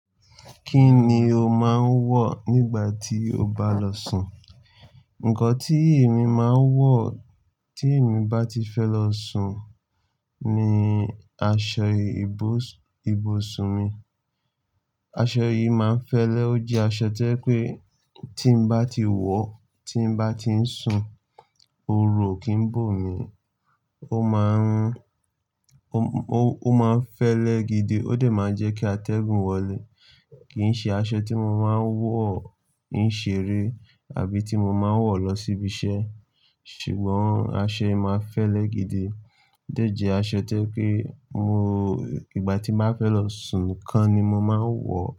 Kí ni o máa ń wọ̀ nígbà tí o bá lọ sùn? Ǹkan tí èmi máa ń wọ̀ tí èmi bá ti fẹ́ lọ sùn ni aṣọ ìbusùn mi. Aṣọ yìí máa ń fẹ́lẹ́, ó jẹ́ aṣọ tí je pé tí n bá ti wọ̀, tí n bá ti ń sùn, ooru o kì n bò mi. Ó máa ń, ó, ó máa ń fẹ́lẹ́ gidi, ó de máa ń jẹ́ kí atẹ́gùn wọlé. Kì í ṣe aṣọ tí mo máa ń wọ̀ ń ṣeré àbí tí mo máa ń wọ̀ lọ síbi iṣẹ́. Ṣùgbọ́n aṣọ yìí máa ń fẹ́lẹ́ gidi. Ó dejẹ́ aṣọ toje pé mo, ìgbà tí n bá fẹ́ lọ sùn nikan ni mo máa ń wọ̀.